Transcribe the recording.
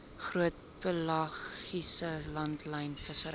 groot pelagiese langlynvissery